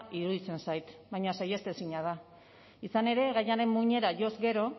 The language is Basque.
iruditzen zait baina saihestezina da izan ere gaiaren muinera joz gero